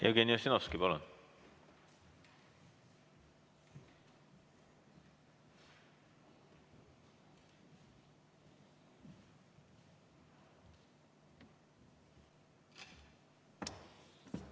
Jevgeni Ossinovski, palun!